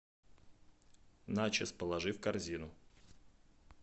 начос положи в корзину